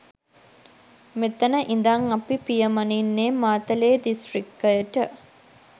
මෙතන ඉඳන් අපි පියමනින්නේ මාතලේ දිස්ත්‍රික්කයට.